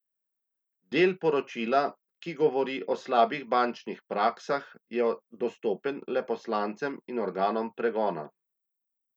Del poročila, ki govori o slabih bančnih praksah, je dostopen le poslancem in organom pregona.